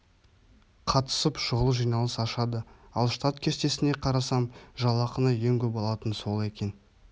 қатысып шұғыл жиналыс ашады ал штат кестесіне қарасам жалақыны ең көп алатын сол екен бұл